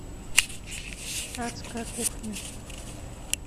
адская кухня